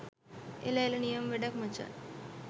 එල එල නියම වැඩක් මචන්